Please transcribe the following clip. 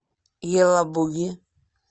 елабуги